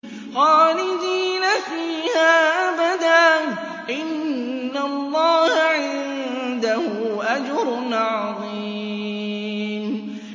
خَالِدِينَ فِيهَا أَبَدًا ۚ إِنَّ اللَّهَ عِندَهُ أَجْرٌ عَظِيمٌ